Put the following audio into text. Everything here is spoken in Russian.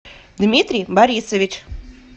дмитрий борисович